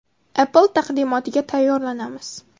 Apple taqdimotiga tayyorlanamiz.